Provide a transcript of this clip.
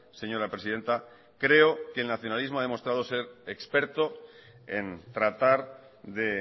señora presidenta creo que el nacionalismo ha demostrado ser experto en tratar de